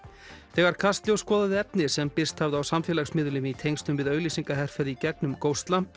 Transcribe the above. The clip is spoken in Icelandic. þegar Kastljós skoðaði efni sem birst hafði á samfélagsmiðlum í tengslum við auglýsingaherferð í gegnum